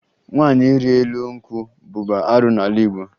Nwaanyị ịrị elu nkwụ bụbu arụ n'ala Igbo